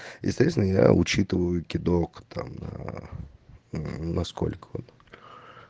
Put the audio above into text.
естественно я учитываю кидок там аа мм насколько он